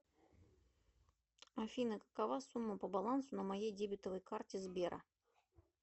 афина какова сумма по балансу на моей дебетовой карте сбера